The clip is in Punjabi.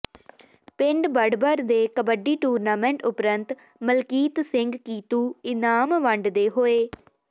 ਪਿੰਡ ਬਡਬਰ ਦੇ ਕਬੱਡੀ ਟੂਰਨਾਮੈਂਟ ਉਪਰੰਤ ਮਲਕੀਤ ਸਿੰਘ ਕੀਤੂ ਇਨਾਮ ਵੰਡਦੇ ਹੋਏ